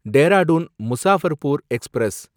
Dehradun Muzaffarpur express